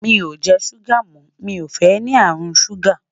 mí o jẹ ṣuga mọ, mí o fẹ ní àrùn ṣuga